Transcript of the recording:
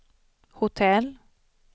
hotell